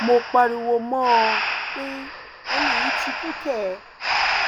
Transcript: mo pariwo mọ ọn pé ẹni yìí ti kú kẹ